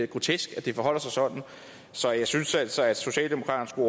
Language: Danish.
grotesk at det forholder sig sådan så jeg synes altså at socialdemokraterne